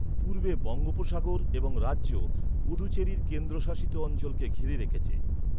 পূর্বে বঙ্গোপসাগর এবং রাজ্য পুদুচেরির কেন্দ্রশাসিত অঞ্চলকে ঘিরে রেখেছে।